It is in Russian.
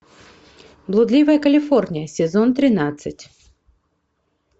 блудливая калифорния сезон тринадцать